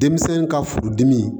Denmisɛn ka furudimi